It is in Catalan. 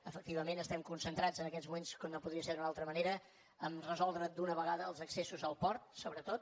efectivament estem concentrats en aquests moments com no podia ser d’una altra manera a resoldre d’una vegada els accessos al port sobretot